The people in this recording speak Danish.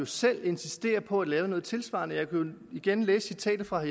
selv insisterer på at lave noget tilsvarende jeg kan jo igen læse citatet fra